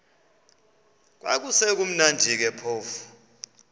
kwakusekumnandi ke phofu